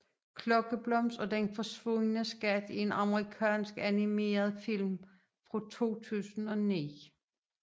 Klokkeblomst og den forsvundne skat er en amerikansk animeretfilm fra 2009